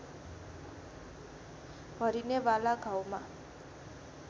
भरिने वाला घाउमा